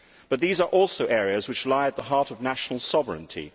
But these are also areas which lie at the heart of national sovereignty